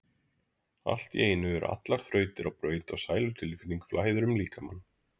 Allt í einu eru allar þrautir á braut og sælutilfinning flæðir um líkamann.